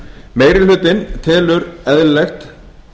meiri hlutinn telur eðlilegt